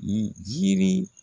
jiri